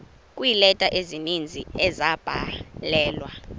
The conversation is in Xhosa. kweeleta ezininzi ezabhalelwa